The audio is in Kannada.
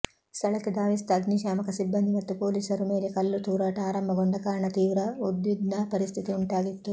ಸ್ಥಳಕ್ಕೆ ಧಾವಿಸಿದ ಅಗ್ನಿಶಾಮಕ ಸಿಬ್ಬಂದಿ ಮತ್ತು ಪೊಲೀಸರು ಮೇಲೆ ಕಲ್ಲು ತೂರಾಟ ಆರಂಭಗೊಂಡ ಕಾರಣ ತೀವ್ರ ಉದ್ವಿಗ್ನ ಪರಿಸ್ಥಿತಿ ಉಂಟಾಗಿತ್ತು